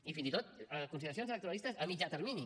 i fins i tot de consideracions electoralistes a mitjà termini